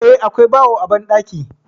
Eh, akwai bawo a banɗaki.